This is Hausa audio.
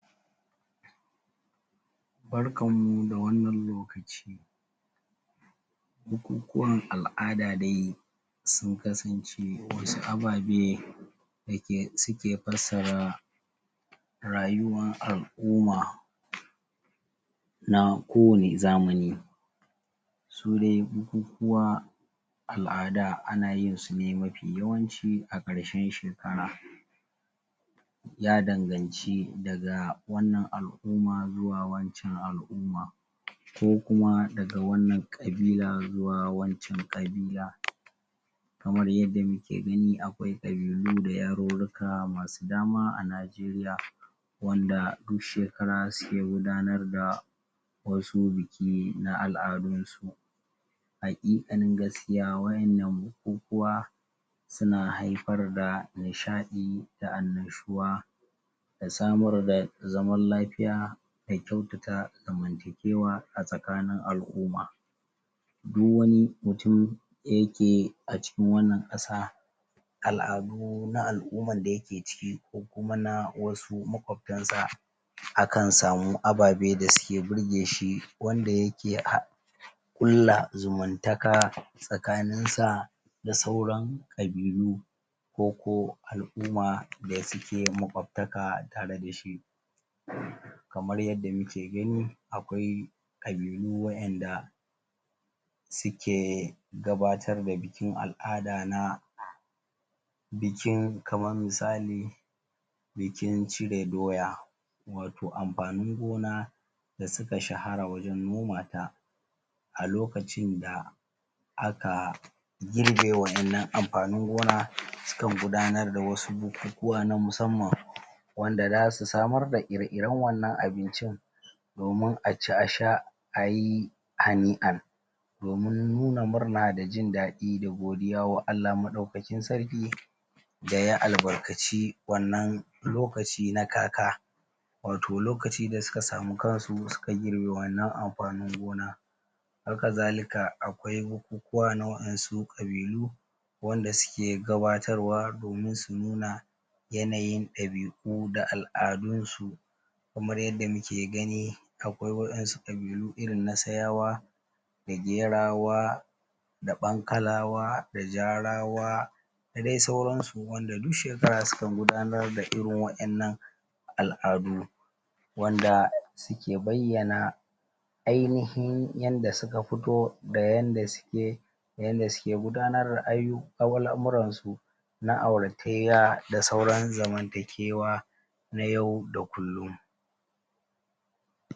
Barkanmu da wannan lokaci! Bukukuwan al'ada dai sun kasance wasu ababe da ke suke fassara rayuwan al'ummana kowane zamani. Su dai bukukuwa al'ada ana yinsu mafi yawanci a ƙarshen shekara Ya danganci daga wannan al'umma zuwa wancan al'umma ko kuma wannan ƙabila zuwa wancan ƙabila. Kamar yadda muke gani akwai ƙabilu da yarurruka masu dama a Najeriya wanda duk shekara suke gudanar da wasu biki na al'adunsu. Haƙiƙanin gaskiya wannan bukukuwa suna haifar da nishaɗi da annashuwa da samar da zaman lafiya da kyautata zamantakewa a tsakanin al'umma. Du wani mutum da yake a cikin wannan ƙasa al'adu na al'umman da yake ciki ko kuma wasu maƙwabtansa akan samu ababe da suke birge shi wanda yake ƙulla zumuntaka tsakaninsa da sauran ƙabilu. ko ko al'umma da suke maƙwabtaka tare da shi. Kamar yadda muke gani akwai ƙabilu waƴanda suke gabatar da bikin al'ada na bikin kaman misali, bikin cire doya, wato amfanin gona da suka shahara wajen noma ta. a lokacin da aka girbe waƴannan amfanin gona sukan gudanar da wasu bukukuwa na musamman wanda za su samar da ire-iren wannan abincin domin a ci a sha a yi hani'an domin nuna murna da jin daɗi da godiya ga Allah Maɗaukakin Sarkin da ya albarkaci wannan lokaci na kaka. Wato lokaci da suka samu kansu suka girbe wannan amfanin gona. Hakazalika akwai bukukuwa na waɗansu ƙabilu wanda suke gabatarwa domin su nuna yanayin ɗabi'u da al'adunsu Kamar yadda muke gani akwai wasu ƙabilu irin na Sayawa da Gerawa da Ɓankalawa da Jarawa da dai sauransu wanda duk shekara sukan gudanar da irin waƴannan al'adu. Wanda suke bayyana ainihin yanda suka fito da yanda suke da yanda suke gudanar da ayyu, da al'amuransu na auratayya da sauran zamantakewa na yau da kullum.